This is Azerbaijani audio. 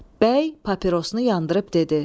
Bəy papirosunu yandırıb dedi: